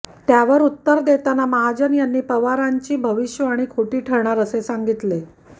त्यावर उत्तर देताना महाजन यांनी पवाराचींची भविष्यवाणी खोटी ठरणार असे सांगितले